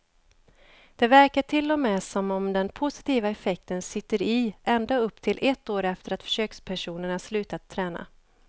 Det verkar till och med som om den positiva effekten sitter i ända upp till ett år efter att försökspersonerna slutat träna.